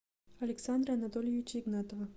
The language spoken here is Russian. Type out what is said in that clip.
александра анатольевича игнатова